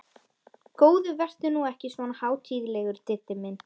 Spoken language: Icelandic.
Góði vertu nú ekki svona hátíðlegur, Diddi minn!